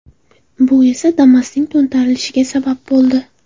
Bu esa Damas’ning to‘ntarilishiga sabab bo‘ldi.